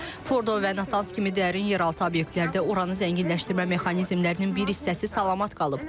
Fordo və Natanz kimi dərin yeraltı obyektlərdə uranı zənginləşdirmə mexanizmlərinin bir hissəsi salamat qalıb.